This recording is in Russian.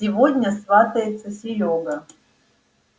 сегодня сватается серёга